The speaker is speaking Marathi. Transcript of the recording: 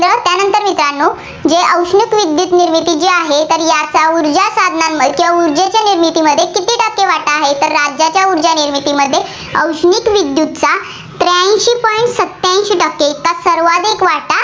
त्यानंतर मित्रांनो जे औष्णिक विद्युत निर्मिती जी आहे, तर याचा ऊर्जासाधानांमध्ये किंवा ऊर्जेच्या निर्मितीमध्ये किती टक्के वाटा आहे, तर राज्याच्या ऊर्जानिर्मिती मध्ये औष्णिक विद्युतचा त्र्याऐंशी point सत्याऐंशी टक्के इतका सर्वाधिक वाटा